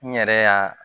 N yɛrɛ y'a